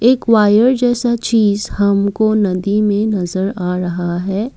एक वायर जैसा चीज़ हमको नदी में नजर आ रहा है।